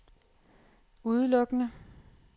udelukkende